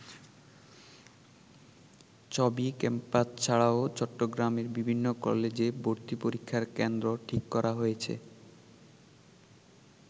চবি ক্যাম্পাস ছাড়াও চট্টগ্রামের বিভিন্ন কলেজে ভর্তিপরীক্ষার কেন্দ্র ঠিক করা হয়েছে।